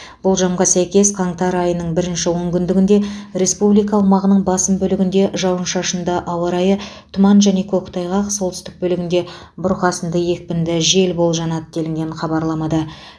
болжамға сәйкес қаңтар айының бірінші онкүндігінде республика аумағының басым бөлігінде жауын шашынды ауа райы тұман және көктайғақ солтүстік бөлігінде бұрқасында екпінді жел болжанады делінген хабарламада